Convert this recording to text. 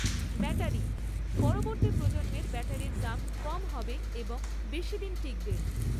Battery পরবর্তী প্রজন্মের ব্যাটারির দাম কম হবে এবং বেশীদিন টিকবে।